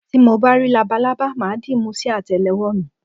Tí mo bá rí labalábá, mà á dìímú sí àtẹ́lé ọwọ́ mi.